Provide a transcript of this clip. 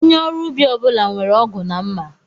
Onye ọrụ ubi ọbula nwèrè ọgụ na mma